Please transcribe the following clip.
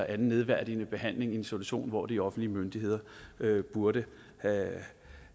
anden nedværdigende behandling i en situation hvor de offentlige myndigheder burde